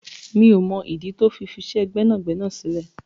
Mio mọ ìdí tí ó fi fisẹ gbẹ́nàgbẹ́nà sílẹ̀.